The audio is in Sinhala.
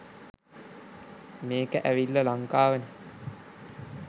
මේක ඇවිල්ල ලංකා‍වනෙ